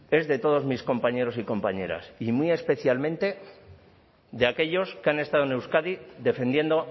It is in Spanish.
es de todos mis compañeros y compañeras y muy especialmente de aquellos que han estado en euskadi defendiendo